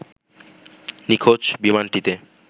নিখোঁজ বিমানটিতে